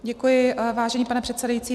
Děkuji, vážený pane předsedající.